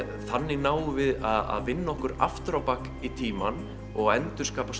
þannig náum við að vinna okkur aftur á bak í tímann og endurskapa